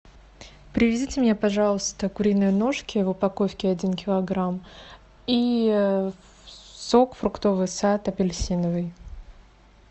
привезите мне пожалуйста куриные ножки в упаковке один килограмм и сок фруктовый сад апельсиновый